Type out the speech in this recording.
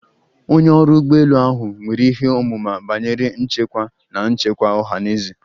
Onye ọrụ ụgbọ elu ahụ nwere ihe ọmụma banyere nchekwa na nchekwa ọha na eze